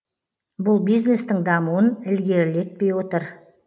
бұл бизнестің дамуын ілгерілетпей отыр